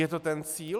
Je to ten cíl?